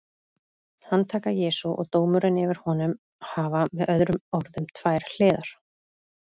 Handtaka Jesú og dómurinn yfir honum hafa með öðrum orðum tvær hliðar.